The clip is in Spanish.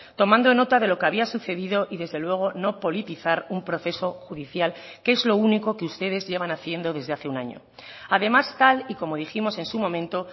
tomando nota de lo que había sucedido y desde luego no politizar un proceso judicial que es lo único que ustedes llevan haciendo desde hace un año además tal y como dijimos en su momento